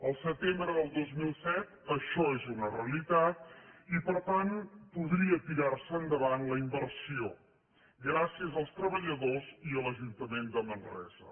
el setembre del dos mil set això és una realitat i per tant podria tirar se endavant la inversió gràcies als treballadors i a l’ajuntament de manresa